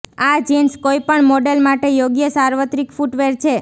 આ જિન્સ કોઈપણ મોડેલ માટે યોગ્ય સાર્વત્રિક ફૂટવેર છે